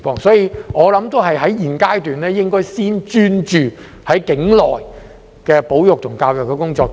因此，我認為在現階段應該先專注處理境內的保育、教育工作。